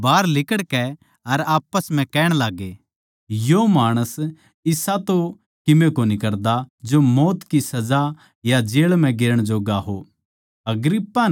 न्यायालय तै बाहर लिकाड़कै आप्पस म्ह कहण लाग्गे यो माणस इसा तो कीमे कोनी करदा जो मौत की सजा या जेळ म्ह गेरण जोग्गा हो